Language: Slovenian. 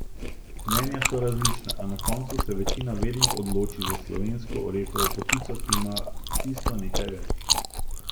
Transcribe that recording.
Mnenja so različna, a na koncu se večina vedno odloči za slovensko orehovo potico, ki ima tisto nekaj več.